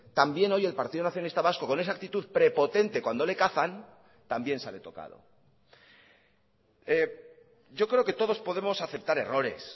también hoy el partido nacionalista vasco con esa actitud prepotente cuando le cazan también sale tocado yo creo que todos podemos aceptar errores